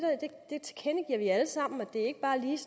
vi tilkendegiver alle sammen at det ikke bare lige